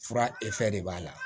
Fura de b'a la